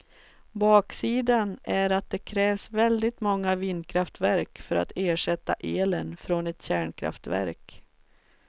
Baksidan är att det krävs väldigt många vindkraftverk för att ersätta elen från ett kärnkraftverk.